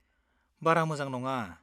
बारा मोजां नङा।